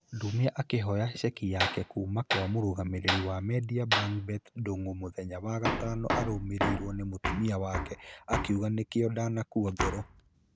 Ndumia akĩoya cheki yake kuumakwamũrũgamĩrĩri wa mendia bangbet ndung'u mũthenya wa gatano arũmereirwo nĩ mũtumia wake. Akiuga nĩkĩo ndanakua ngoro.